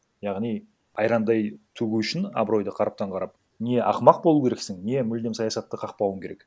яғни айрандай төгу үшін абыройды қараптан қарап не ақымақ болу керексің не мүлдем саясатта қақпауың керек